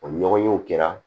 O ɲɔgɔnyew kɛra